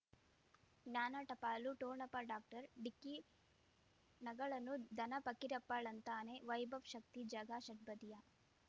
ಜ್ಞಾನ ಟಪಾಲು ಠೊಣಪ ಡಾಕ್ಟರ್ ಢಿಕ್ಕಿ ಣಗಳನು ಧನ ಫಕೀರಪ್ಪ ಳಂತಾನೆ ವೈಭವ್ ಶಕ್ತಿ ಝಗಾ ಷಟ್ಪದಿಯ